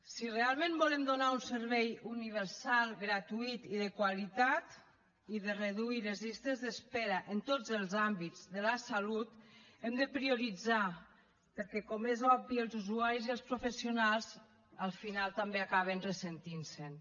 si realment volem donar un servei universal gratuït i de qualitat i reduir les llistes d’espera en tots els àmbits de la salut hem de prioritzar perquè com és obvi els usuaris i els professionals al final també acaben ressentint se’n